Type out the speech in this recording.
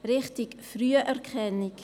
Richtig: Früherkennung.